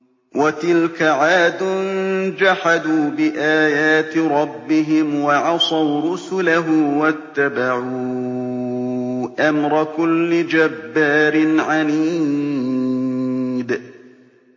وَتِلْكَ عَادٌ ۖ جَحَدُوا بِآيَاتِ رَبِّهِمْ وَعَصَوْا رُسُلَهُ وَاتَّبَعُوا أَمْرَ كُلِّ جَبَّارٍ عَنِيدٍ